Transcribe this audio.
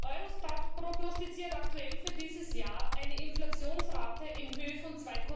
Eurostat prognostiziert aktuell für dieses Jahr eine Inflationsrate in Höhe von